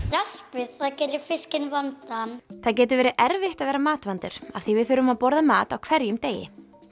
raspið það gerir fiskinn það getur verið erfitt að vera matvandur af því við þurfum að borða mat á hverjum degi